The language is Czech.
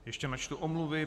Ještě načtu omluvy.